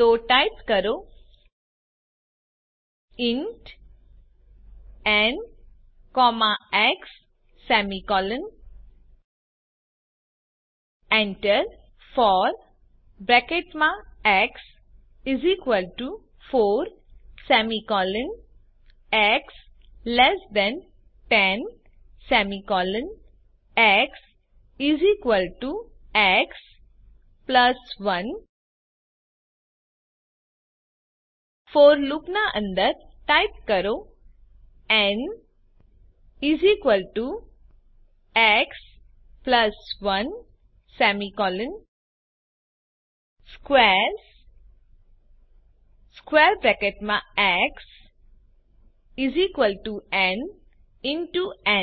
તો ટાઇપ કરો int n x for x 4 x 10 x x 1 n x 1 squares x ન